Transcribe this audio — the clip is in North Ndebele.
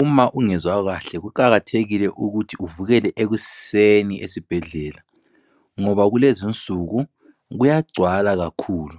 Uma ungezwa kahle kuqakathekile ukuthi uvukele ekuseni esibhedlela ngoba kulezi insuku kuyagcwala kakhulu